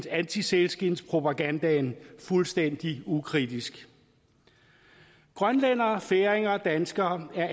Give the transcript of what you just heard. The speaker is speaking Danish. antisælskindspropagandaen fuldstændig ukritisk grønlændere færinger og danskere er